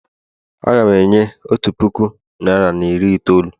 Aga m enye otu puku naịra na iri itoolu.